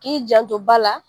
K'i janto ba la